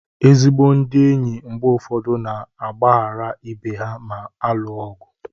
Ezigbo ndị enyi mgbe ụfọdụ na-agbaghara ibe ha ma alụọ ọgụ.